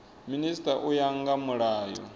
minisita u ya nga mulayo